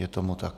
Je tomu tak.